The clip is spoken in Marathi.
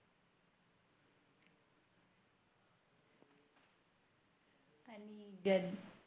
गदर